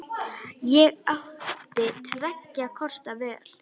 Ég átti tveggja kosta völ.